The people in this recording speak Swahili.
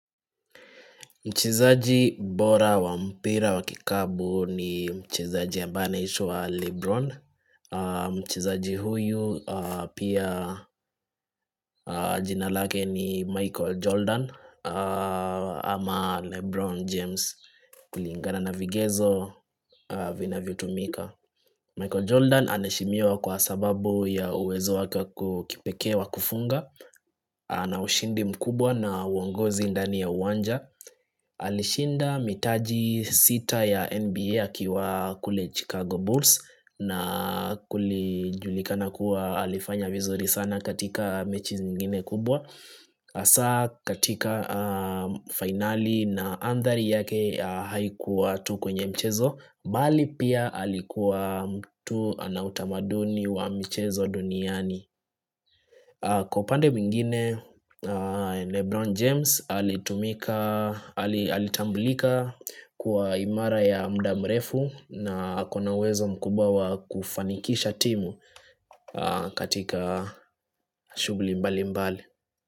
Mchezaji bora wa mpira wa kikapu ni mchezaji ambaye anaitwa Lebron Mchezaji huyu pia jina lake ni Michael Jordan ama Lebron James kulingana na vigezo vinavyo tumika Michael Jordan anaheshimiwa kwa sababu ya uwezo wake kipekee wa kufunga ana ushindi mkubwa na uongozi ndani ya uwanja Alishinda mitaji sita ya NBA akiwa kule Chicago Bulls na kulijulikana kuwa alifanya vizuri sana katika mechi zingine kubwa hasaa katika finali na andhari yake haikuwa tu kwenye mchezo bali pia alikuwa mtu anautamaduni wa michezo duniani Kwa upande mwingine Lebron James alitumika alitambulika kuwa imara ya mda mrefu na akona uwezo mkubwa wa kufanikisha timu katika shugli mbali mbali.